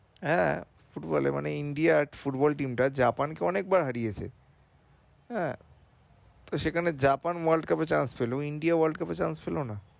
হ্যাঁ football এ মানে India football team টা Japan কে অনেক বার হারিয়েছে হ্যাঁ তো সেখানে Japan world cup এ change পেলো India world cup এ change পেলো না।